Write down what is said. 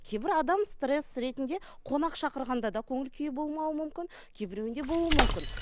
кейбір адам стресс ретінде қонақ шақырғанда да көңіл күйі болмауы мүмкін кейбіреуінде болуы мүмкін